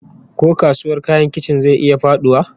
Ko kasuwar kayan kicin zai iya faduwa?